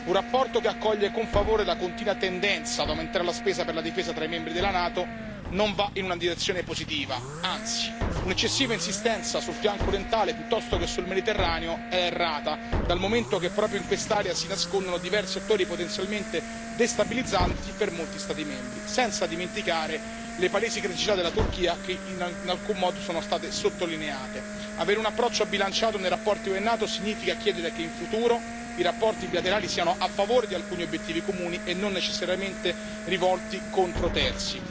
Una relazione che accoglie con favore la continua tendenza ad aumentare la spesa per la difesa tra i membri della NATO non va in una direzione positiva, anzi. Un'eccessiva insistenza sul fianco orientale piuttosto che sul Mediterraneo è errata, dal momento che proprio in quest'area si nascondono diversi attori potenzialmente destabilizzanti per molti Stati membri, senza dimenticare le palesi criticità della Turchia che in alcun modo sono state sottolineate. Avere un approccio bilanciato nei rapporti UE NATO significa chiedere che in futuro i rapporti bilaterali siano a favore di alcuni obiettivi comuni e non necessariamente rivolti contro terzi.